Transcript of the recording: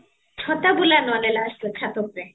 ଛତା ବୁଲା ନହେଲେ last ରେ ଛାତ ଉପରେ